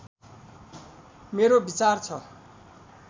मेरो विचार छ